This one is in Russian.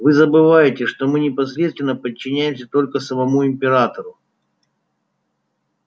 вы забываете что мы непосредственно подчиняемся только самому императору